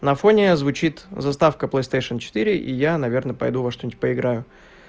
на фоне озвучит заставка плейстейшен четыре и я наверное пойду во что-нибудь поиграю